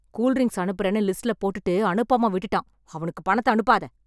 Cool drinks அனுப்பறேன்னு லிஸ்ட்ல போட்டுட்டு, அனுப்பாம விட்டுட்டான்... அவனுக்கு பணத்த அனுப்பாத.